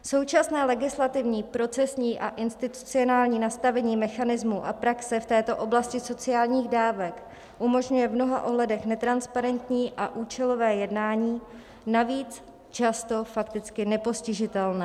Současné legislativní, procesní a institucionální nastavení mechanismů a praxe v této oblasti sociálních dávek umožňuje v mnoha ohledech netransparentní a účelové jednání, navíc často fakticky nepostižitelné.